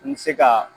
N bɛ se ka